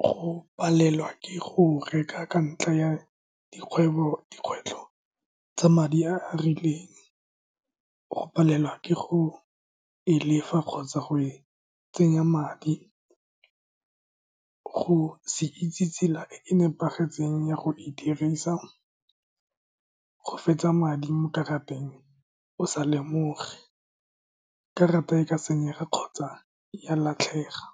go palelwa ke go reka ka ntlha ya dikgwebo, dikgwetlho tsa madi a a rileng, go palelwa ke go e lefa kgotsa go e tsenya madi, go se itse tsela e e nepagetseng ya go e dirisa go fetsa madi mo karateng o sa lemoge, karata e ka senyega kgotsa ya latlhega.